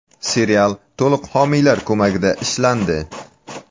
Serial to‘liq homiylar ko‘magida ishlandi ...”.